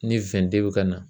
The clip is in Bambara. Ni bɛ ka na.